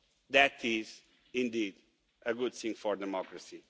That is indeed a good thing for democracy.